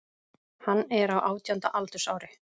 Hann er á átjánda aldursári